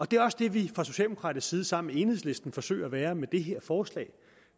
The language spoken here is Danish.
det er også det vi fra socialdemokratisk side sammen med enhedslisten forsøger at være med det her forslag